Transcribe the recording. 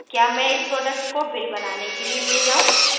क्या मैं इस प्रोडक्ट को बिल बनाने के लिए ले जाऊं